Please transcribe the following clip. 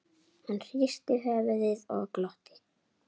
Hann hristi höfuðið og glotti.